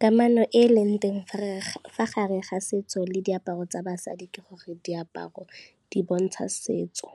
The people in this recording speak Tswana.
Kamano e e leng teng fa gare ga setso le diaparo tsa basadi ke gore, diaparo di bontsha setso,